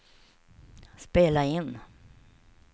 spela in